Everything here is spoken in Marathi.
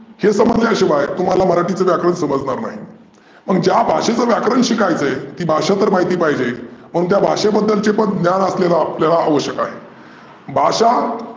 हे समजल्या शिवाय तुम्हाला मराठीचं व्याकरण समजनार नाही. मग ज्या भाषेचं व्याकरण शिकायचं आहे ती भाषा तर माहिती पाहीजे. म्हणून त्या भाषेबद्दलचे पण ज्ञान आपल्याला आपल्याला आवश्यक आहे. भाषा